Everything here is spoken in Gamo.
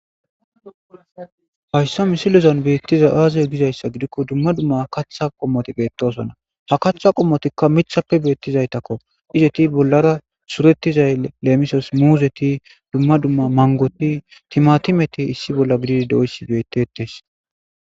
Dumma dumma kaththa qommoti bettosona. Haththa pommoti miththa bollappe betizayttakko. Izeti bollara suretizaytakko lemissos muzeti, mangot, timatimeti issi bolla gididi bettosona.